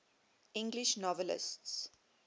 english novelists